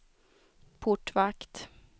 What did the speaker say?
portvakt